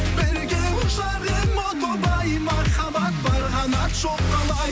бірге ұшар ем о тоба ай махаббат бар қанат жоқ қалай